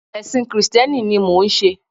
Èsìn krìsténi ni mò n se